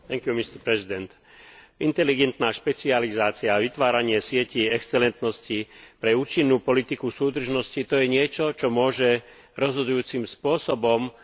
Inteligentná špecializácia a vytváranie sietí excelentnosti pre účinnú politiku súdržnosti, to je niečo, čo môže rozhodujúcim spôsobom pomôcť našim regiónom.